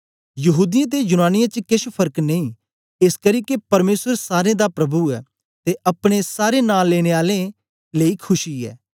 यहूदीयें ते यूनानियें च केछ फर्क नेई एसकरी के परमेसर सारें दा प्रभु ऐ ते अपने सारे नां लेने आलें लेई खुशी ऐ